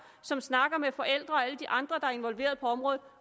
som snakker med forældre og alle de andre som er involveret på området